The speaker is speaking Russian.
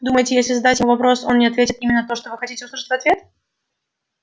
думаете если задать ему вопрос он не ответит именно то что вы хотите услышать в ответ